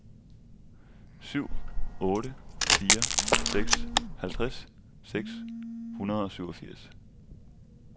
syv otte fire seks halvtreds seks hundrede og syvogfirs